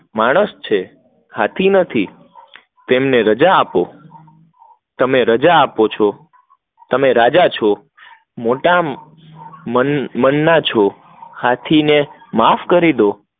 માણસ છે હાથી નથી, તેમને રાજા આપો, તમેં રજા છો, મોટા મન ના છો, હાથી ને માફ કરી દો